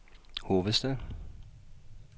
hovedstad